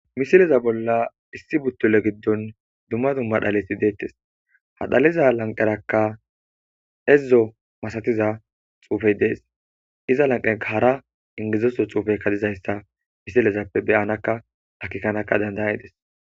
misileza bolla issi buttule giddon dumma dumma dhalesi deettes hadhaliza lanqerakka edzzo masatiza xuufey dees iza lanqea hara ingizeso xuufey kadizayssa misilezappe beyanakka dhakikanaka dandayedes